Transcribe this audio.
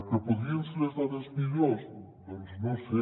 que en podrien ser les dades millors doncs no ho sé